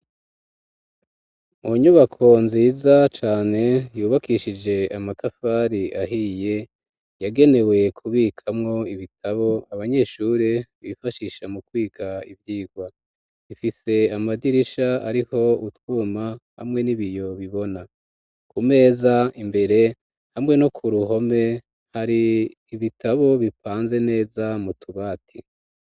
Inyubako nziza cane yubakishije amatafari ahiye yagenewe kubikamwo ibitabo abanyeshuri bifashisha mu kwiga ivyigwa ifise amadirisha ariho utwuma hamwe n'ibiyo bibona ku meza imbere hamwe no ku ruhome hari ibitabo bipanze neza mu tubati.